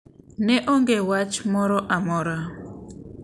Ne onge wach moro amora,